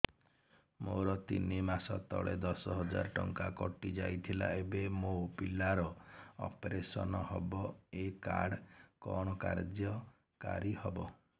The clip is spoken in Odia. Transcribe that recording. ମୋର ତିନି ମାସ ତଳେ ଦଶ ହଜାର ଟଙ୍କା କଟି ଯାଇଥିଲା ଏବେ ମୋ ପିଲା ର ଅପେରସନ ହବ ଏ କାର୍ଡ କଣ କାର୍ଯ୍ୟ କାରି ହବ